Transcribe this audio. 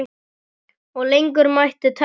Og lengur mætti telja.